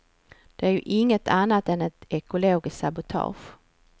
Det är ju inget annat än ett ekologiskt sabotage.